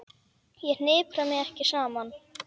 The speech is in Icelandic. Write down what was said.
Ég hnipra mig ekki saman.